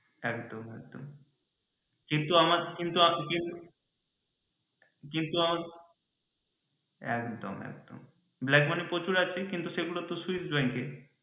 একদম একদম কিন্তু আমার কিন্তু একদম একদম black money প্রচুর আছে কিন্তু সেইগুলো তো switch ব্যাঙ্কে।